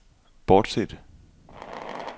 bortset